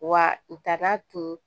Wa u tara tun